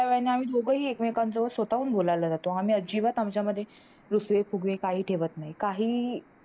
थोडय़ा वेळाने आम्ही दोघही एकमेकांसोबत स्वतःहून बोलायला लागतो आम्ही अजिबात आमच्या मध्ये रुसवे फुगवे काही ठेवत काही काहीही